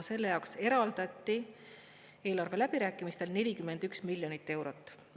Selle jaoks eraldati eelarve läbirääkimistel 41 miljonit eurot.